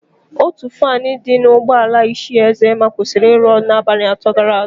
Ótù faanụ dị n'ụgbọala Ichie Ezema kwụsịrị ịrụ ọrụ n'abalị atọ gara aga.